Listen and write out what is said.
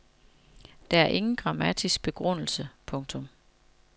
Der er ingen grammatisk begrundelse. punktum